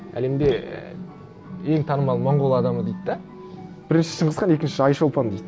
әлемде ең танымал монғол адамы дейді де біріншісі шыңғыс хан екіншісі айшолпан дейді